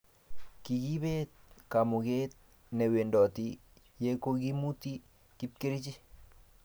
kikiibet kamuket ne wendoti ya kokimuti kapkerich